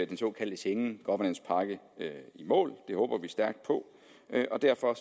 den såkaldte schengen governance pakke i mål det håber vi stærkt på og derfor